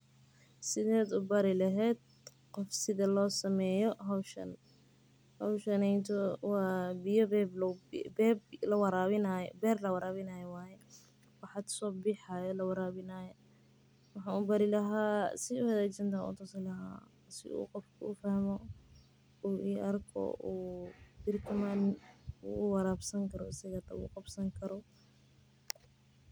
Wa ber lawarawinayo oo wax hada sobaxayo oo lawarawinayo waxa ubari laha sidan wanagsan ayan utusi laha sii uu qofka ufahmo uu iarko oo beri kamalin uu warabsani karo.